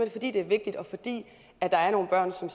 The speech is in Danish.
fordi det er vigtigt og fordi der er nogle børn som